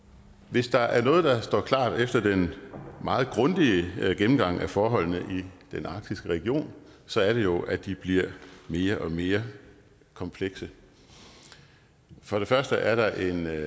hvis der er noget der står klart efter den meget grundige gennemgang af forholdene i den arktiske region så er det jo at de bliver mere og mere komplekse for det første er der